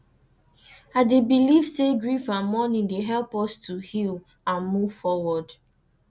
i dey believe say grief and mourning dey help us to heal and move forward